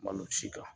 Malo si kan